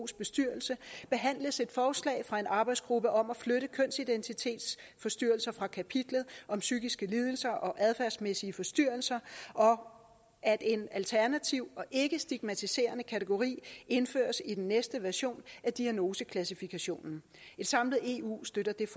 bestyrelse behandles et forslag fra en arbejdsgruppe om at flytte kønsidentitetsforstyrrelser fra kapitlet om psykiske lidelser og adfærdsmæssige forstyrrelser og at en alternativ ikkestigmatiserende kategori indføres i den næste version af diagnoseklassifikationen et samlet eu støtter dette